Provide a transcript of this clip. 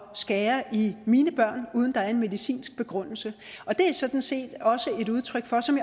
skære i mine børn uden at der er en medicinsk begrundelse og det er sådan set også et udtryk for som